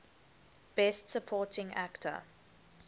best supporting actor